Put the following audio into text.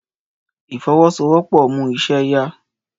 Ìfọwọ́sowọ́pọ̀ mú iṣẹ́ yá